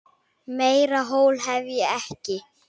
Meira hól hef ég ekki.